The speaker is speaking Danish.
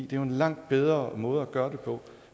det er en langt bedre måde gøre det på